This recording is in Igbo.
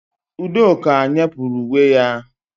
Udoka nyepurụ uwe ya